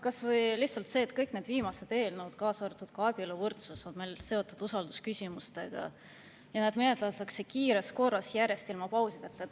Kas või lihtsalt see, et kõik need viimased eelnõud, kaasa arvatud ka abieluvõrdsuse, on seotud usaldusküsimustega ja neid menetletakse kiires korras, järjest, ilma pausideta.